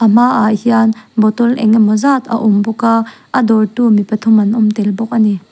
a hmaah hian bottle engemaw zat a awm bawk a a dawr tu mi pathum an awm tel bawk a ni.